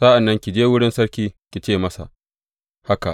Sa’an nan ki je wurin sarki, ki ce masa haka.